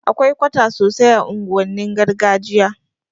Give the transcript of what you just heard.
Akwai kwata sosai a unguwannin gargajiya